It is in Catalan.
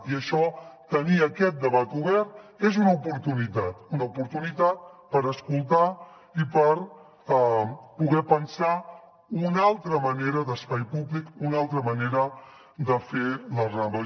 i tenir aquest debat obert és una oportunitat una oportunitat per escoltar i per poder pensar una altra manera d’espai públic una altra manera de fer la rambla